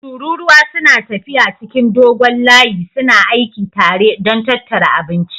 Tururuwa suna tafiya cikin dogon layi suna aiki tare don tattara abinci